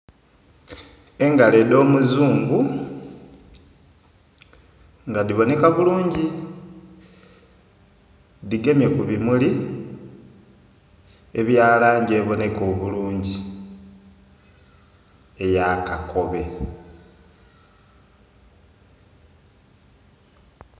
Engalo edho omuzungu nga dhibonheka bulungi dhigemye ku bumuli ebya langi ebonheka obulungi eya kakobe.